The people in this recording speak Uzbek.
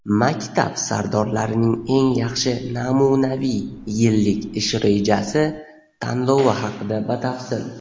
"Maktab sardorlarining eng yaxshi namunaviy yillik ish rejasi" tanlovi haqida batafsil.